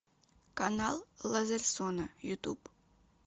канал лазерсона ютуб